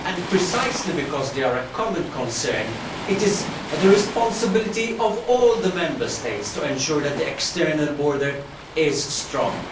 Precisely because they are a common concern, it is the responsibility of all the Member States to ensure that the external borders are strong.